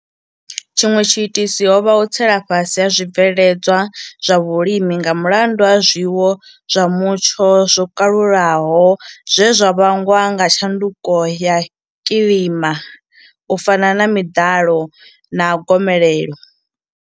Tshiṅwe tshiitisi ho vha u tsela fhasi ha zwibveledzwa zwa vhulimi nga mulandu wa zwiwo zwa mutsho zwo kalulaho zwe zwa vhangwa nga tshanduko ya kilima u fana na miḓalo na gomelelo.